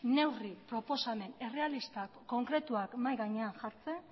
neurri proposamen errealistak eta konkretuak mahai gainean jartzen